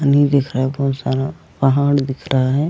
पानी दिख रहा है बहुत सारा पहाड़ दिख रहा है।